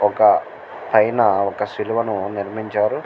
ఒక పైన ఒక సిలువను నిర్మహించారు.